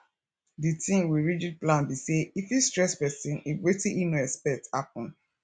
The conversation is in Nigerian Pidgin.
di thing with rigid plan be sey e fit stress person if wetin im no expect happen